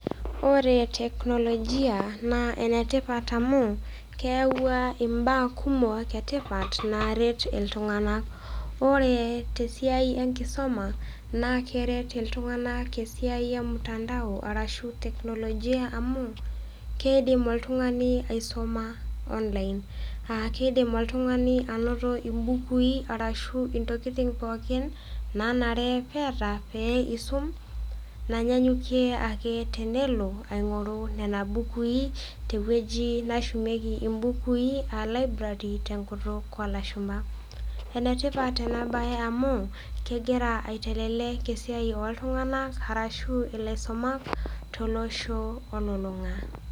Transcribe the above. Ore teknologia naa enetipat amu, keyauwa imbaa kumok e tipat naaret iltung'ana. Oree te siai enkisoma, naa keret iltung'ana esiai e mutandao, ashu teknlojia amu, keidim oltung'ani aisuma te online ashu keiidm oltung'ani ainoto iimbukui arashu intokitin pookin naanare pee eata pee eisum, nainyanyukie ake tenelo aing'oru nena bukui tte ewuji nashumieki imbuukui aa library te enkutuk oo ilashumba. Enetipat ena baye amu, kegira aitelelek esiai oo iltung'anak arashu ilaisumak tosho olulung'a.